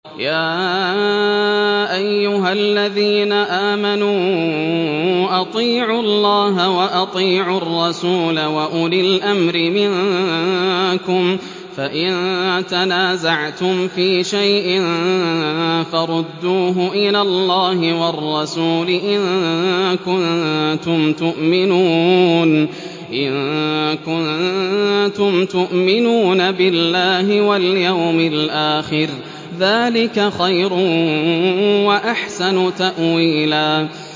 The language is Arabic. يَا أَيُّهَا الَّذِينَ آمَنُوا أَطِيعُوا اللَّهَ وَأَطِيعُوا الرَّسُولَ وَأُولِي الْأَمْرِ مِنكُمْ ۖ فَإِن تَنَازَعْتُمْ فِي شَيْءٍ فَرُدُّوهُ إِلَى اللَّهِ وَالرَّسُولِ إِن كُنتُمْ تُؤْمِنُونَ بِاللَّهِ وَالْيَوْمِ الْآخِرِ ۚ ذَٰلِكَ خَيْرٌ وَأَحْسَنُ تَأْوِيلًا